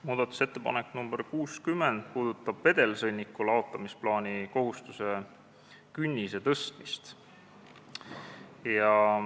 Muudatusettepanek nr 60 näeb ette vedelsõnniku laotusplaani kohustuse künnise tõstmist.